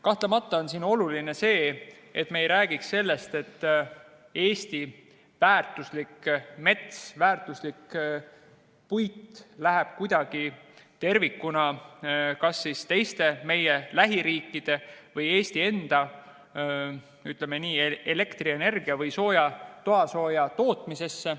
Kahtlemata on oluline, et me ei räägiks sellest, et Eesti väärtuslik mets, väärtuslik puit läheb tervikuna kas meie lähiriikide või Eesti enda elektrienergia või toasooja tootmisse.